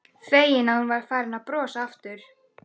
Feginn að hún var farin að brosa aftur.